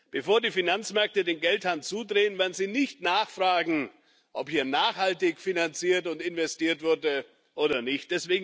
Bevor die Finanzmärkte den Geldhahn zudrehen, werden sie nicht nachfragen, ob hier nachhaltig finanziert und investiert wurde oder nicht.